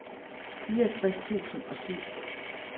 fireogtres tusind og syv